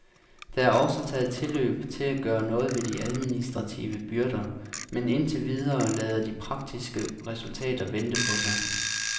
Der er også taget tilløb til at gøre noget ved de administrative byrder, men indtil videre lader de praktiske resultater vente på sig.